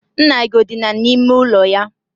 Nna gị o dina n'ime ụlọ ya?